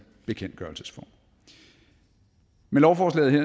bekendtgørelsesform med lovforslaget